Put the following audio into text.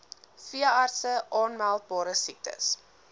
veeartse aanmeldbare siektes